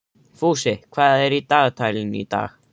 Fúsi, hvað er í dagatalinu í dag?